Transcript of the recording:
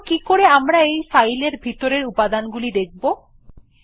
কিন্তু কিকরে আমরা এই ফাইলটির ভিতরের উপাদান গুলো দেখব 160